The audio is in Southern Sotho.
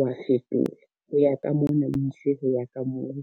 wa fetola ho ya ka mona, o ise ho ya ka moo.